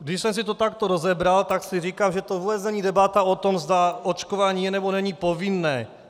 Když jsem si to takto rozebral, tak si říkám, že to vůbec není debata o tom, zda očkování je, nebo není povinné.